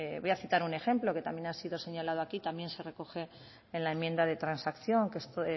voy a citar un ejemplo que también ha sido señalado aquí y que también se recoge en la enmienda de transacción